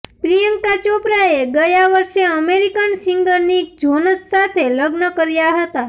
પ્રિયંકા ચોપરાએ ગયા વર્ષે અમેરિકન સિંગર નિક જોનસ સાથે લગ્ન કર્યા હતા